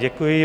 Děkuji.